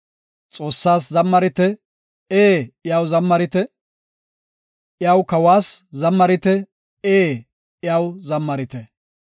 Xoossaas zammarit; ee, iyaw zammarit; iyaw kawas zammarit; ee, iyaw zammarit.